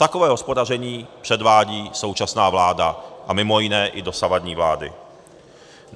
Takové hospodaření předvádí současná vláda a mimo jiné i dosavadní vlády.